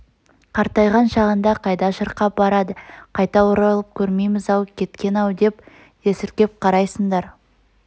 қартайған шағында қайда шырқап барады қайта оралып көрмеймз-ау кеткен-ау деп есіркеп қарайсыңдар